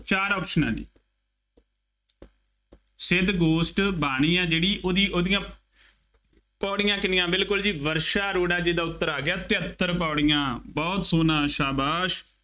ਚਾਰ ਆਪਸ਼ਨਾਂ ਨੇ, ਸਿੱਧ ਗੋਸ਼ਟ ਬਾਣੀ ਆ ਜਿਹੜੀ ਉਹਦੀ ਉਹਦੀਆਂ ਪੌੜੀਆਂ ਕਿੰਨੀਆਂ, ਬਿਲਕੁੱਲ ਜੀ, ਵਰਸ਼ਾ ਅਰੋੜਾ ਜੀ ਦਾ ਉੱਤਰ ਆ ਗਿਆ, ਤਹੇਤਰ ਪੌੜੀਆਂ, ਬਹੁਤ ਸੋਹਣਾ, ਸ਼ਾਬਾਸ਼